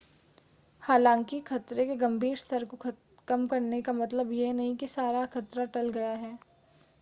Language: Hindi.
हालांकि खतरे के गंभीर स्तर को कम करने का मतलब यह नहीं है कि सारा खतरा टल गया है